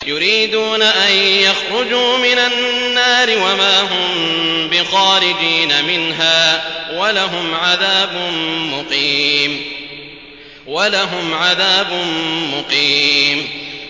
يُرِيدُونَ أَن يَخْرُجُوا مِنَ النَّارِ وَمَا هُم بِخَارِجِينَ مِنْهَا ۖ وَلَهُمْ عَذَابٌ مُّقِيمٌ